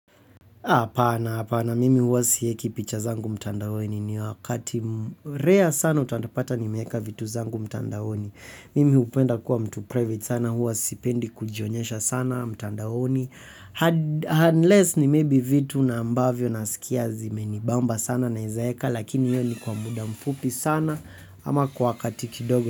Hapana hapana mimi huwa siweki picha zangu mtandaoni. Ni wakati rare sana utanipata nimeweka vitu zangu mtandaoni. Mimi hupenda kuwa mtu private sana mimi huwa sipendi kujionyesha mtandaoni, hadi, unless ni maybe vitu na ambavyo nasikia zimenibamba sana naezaeka, lakini hiyo ni kwa muda mfupi sana, ama kwa katiki kidogo.